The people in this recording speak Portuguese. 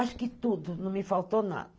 Acho que tudo, não me faltou nada.